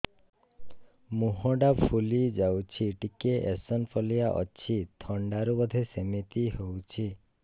ମୁହଁ ଟା ଫୁଲି ଯାଉଛି ଟିକେ ଏଓସିନୋଫିଲିଆ ଅଛି ଥଣ୍ଡା ରୁ ବଧେ ସିମିତି ହଉଚି